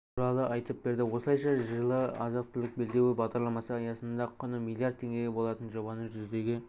туралы айтып берді осылайша жылы азық-түлік белдеуі бағдарламасы аясында құны миллиард теңге болатын жобаны жүзеге